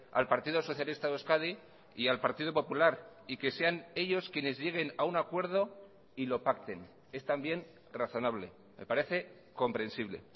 al partido socialista de euskadi y al partido popular y que sean ellos quienes lleguen a un acuerdo y lo pacten es también razonable me parece comprensible